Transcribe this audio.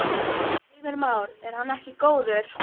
Heimir Már: Er hann ekki góður?